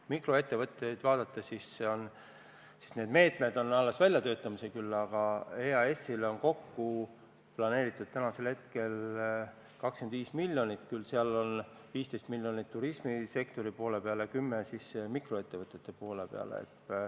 Mikroettevõtete jaoks on meetmed alles välja töötamisel, küll aga on EAS-il planeeritud hetkel kokku 25 miljonit, sellest 15 miljonit on turismisektori poole peale ja 10 miljonit mikroettevõtete poole peale.